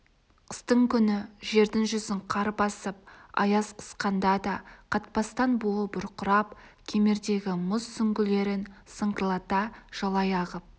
қыстың күні жердің жүзін қар басып аяз қысқанда да қатпастан буы бұрқырап кемердегі мұз сүңгілерін сыңғырлата жалай ағып